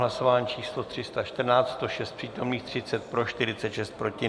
Hlasování číslo 314, 106 přítomných, 30 pro, 46 proti.